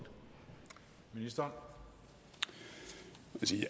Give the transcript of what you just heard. og som